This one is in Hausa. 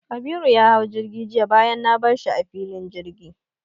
Kabiru ya hau jirgi jiya bayan na bar shi a filin jirgi.